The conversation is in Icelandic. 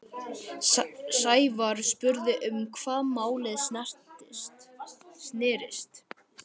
Sævar spurði um hvað málið snerist.